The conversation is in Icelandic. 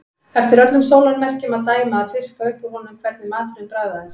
Eftir öllum sólarmerkjum að dæma að fiska upp úr honum hvernig maturinn bragðaðist.